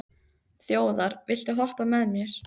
Þjóðar, viltu hoppa með mér?